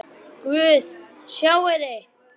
Köntuð hornin urðu ávöl.